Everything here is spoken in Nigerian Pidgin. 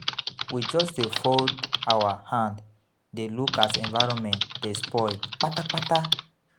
We just dey fold our hand dey look as environment dey spoil kpata kpata.